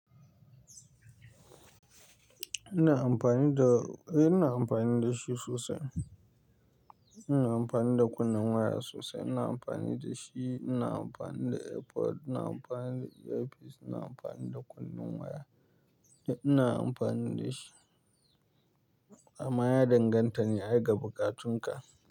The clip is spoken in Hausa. Ina amfani da, eh ina amfani da shi sosai. Ina amfani da kunnen waya sosai. Ina amfani da shi, ina amfani da Airpod, ina amfani da earpiece, ina amfani da kunnen waya. Eh ina amfani da shi. Amma ya danganta ne ai ga bukatun ka.